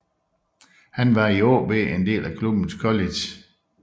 Han var i AaB en del af klubbens college